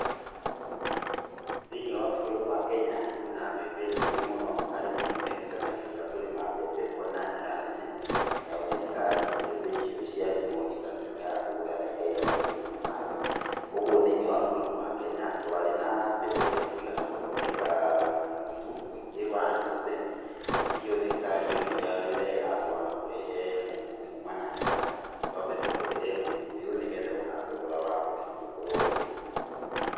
Thĩiniĩ wa bũrũri wa Kenya, kwĩna mbembe nyingĩ mũno, arĩmi nĩ meerutanagĩria kũrima mbembe kuo na njĩra nene. Nayo thirikari, mbembe icio cia rĩmwo ĩkatuĩka ya kũgũra na ĩkaiga makũmbĩ-inĩ mayo. Ũguo thĩiniĩ wa bũrũri wa Kenya, twarĩ na mbembe cia kũigana gũthondeka mũtu mũingĩ wa andũ othe, na nĩkĩo thirikari yonire arĩ wega kũaga kũrehe mũtu kuuma nanja. Twambe tũhũthĩre mũtu ũyũ nĩgetha o na thogora wa mũtu ũkorwo wĩ thĩ.